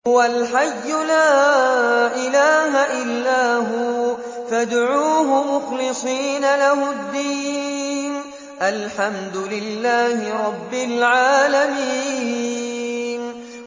هُوَ الْحَيُّ لَا إِلَٰهَ إِلَّا هُوَ فَادْعُوهُ مُخْلِصِينَ لَهُ الدِّينَ ۗ الْحَمْدُ لِلَّهِ رَبِّ الْعَالَمِينَ